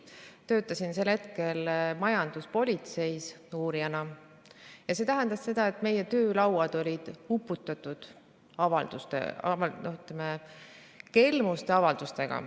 Töötasin sel hetkel majanduspolitseis uurijana ja see tähendas seda, et meie töölauad olid uppunud kelmuste avaldustesse.